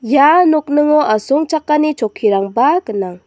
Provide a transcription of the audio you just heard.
ia nokningo asongchakani chokkirangba gnang.